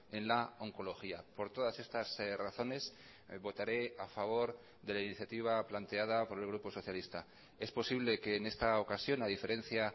en la oncología por todas estas razones votaré a favor de la iniciativa planteada por el grupo socialista es posible que en esta ocasión a diferencia